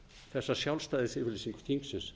þessa sjálfstæðisyfirlýsingu þingsins